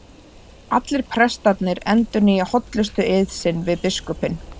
Allir prestarnir endurnýja hollustueið sinn við biskupinn.